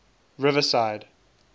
riverside